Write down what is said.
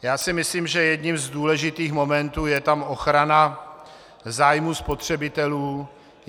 Já si myslím, že jedním z důležitých momentů je tam ochrana zájmu spotřebitelů.